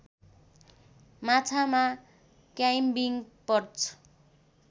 माछामा climbing perch